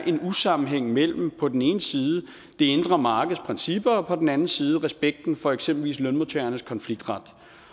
sammenhæng mellem på den ene side det indre markeds principper og på den anden side respekten for eksempelvis lønmodtagernes konfliktret